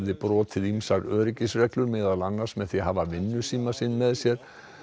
brotið ýmsar öryggisreglur meðal annars með því að hafa með sér